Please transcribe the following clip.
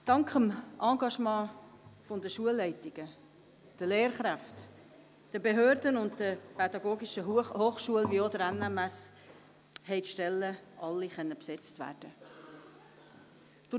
Dank dem Engagement der Schulleitungen, der Lehrkräfte, der Behörden, der PH und der NMS haben alle Stellen besetzt werden können.